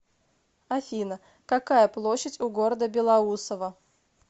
афина какая площадь у города белоусово